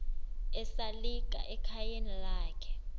esalika ekhayeni lakhe